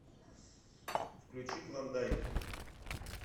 включи клондайк